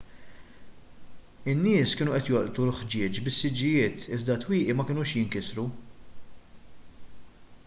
in-nies kienu qed jolqtu l-ħġieġ bis-siġġijiet iżda t-twieqi ma kinux jinkisru